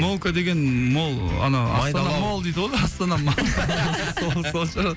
молка деген мол ана астана мол дейді ғой сол шығар